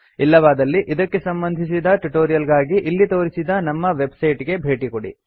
ಇಲ್ಲವಾದಲ್ಲಿ ಇದಕ್ಕೆ ಸಂಬಂಧಿಸಿದ ಟ್ಯುಟೋರಿಯಲ್ ಗಾಗಿ ಇಲ್ಲಿ ತೋರಿಸಿರುವ ನಮ್ಮ ವೆಬ್ಸೈಟ್ ಗೆ ಭೇಟಿ ಕೊಡಿ